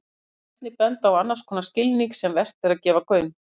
Hér má einnig benda á annars konar skilning sem vert er að gefa gaum.